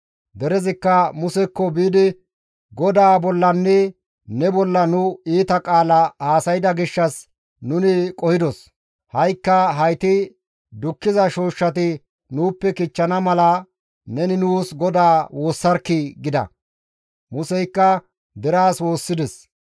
Derezikka Musekko biidi, «GODAA bollanne ne bolla nu iita qaala haasayda gishshas nuni qohidos; ha7ikka hayti dukkiza shooshshati nuuppe kichchana mala neni nuus GODAA woossarkkii!» gida; Museykka deraas woossides.